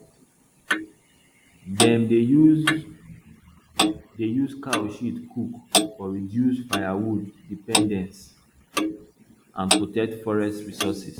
dem dey use dey use cow shit cook for reduce firewood dependence and protect forest resources